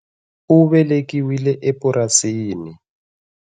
U velekiwile epurasini.